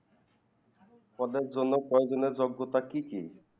পদের জন্য কয়েক দিনের যোগ্যতা কি কি?